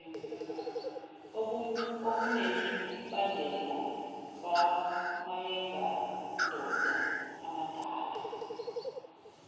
okunemibandela kwamayengandoda amadala